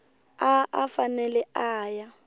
a a fanele a ya